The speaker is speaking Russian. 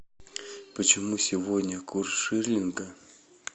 почему сегодня курс шиллинга